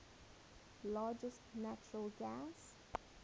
largest natural gas